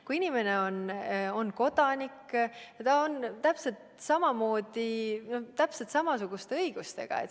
Kui inimene on kodanik, siis ta on täpselt samasuguste õigustega.